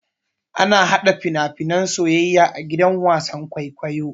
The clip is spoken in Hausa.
Ana hada fina-finan soyayya a gidan wasan kwaikwayo.